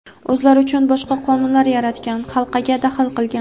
o‘zlari uchun boshqa "qonun"lar yaratgan xalqaga daxl qilgan.